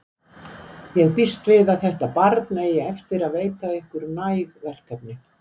Ég býst við að þetta barn eigi eftir að veita ykkur næg verkefni.